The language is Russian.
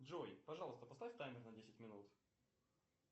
джой пожалуйста поставь таймер на десять минут